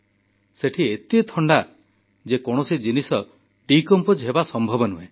ସେଠି ଏତେ ଥଣ୍ଡା ଯେକୌଣସି ଜିନିଷ ଡିକମ୍ପୋଜ ହେବା ସମ୍ଭବ ନୁହେଁ